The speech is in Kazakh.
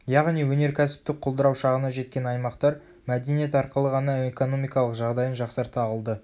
яғни өнеркәсіптік құлдырау шағына жеткен аймақтар мәдениет арқылы ғана экономикалық жағдайын жақсарта алды